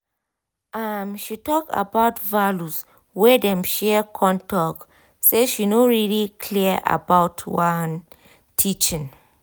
um she talk about values wey um dem share con talk say she no really clear about one um teaching